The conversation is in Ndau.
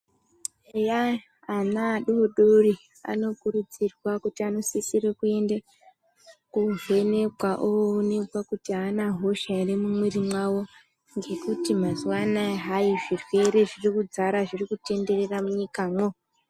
Eya ana adoodori anokurudzirwa kuti anosisire kuende kovhenekwa oonekwa kuti aana hosha ere mumwiri mwawo ngekuti mazuwa anaa hai zvirwere zvirikudzara zvirikutenderere munyikamwo.